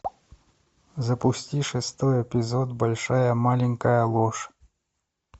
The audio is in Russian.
запусти шестой эпизод большая маленькая ложь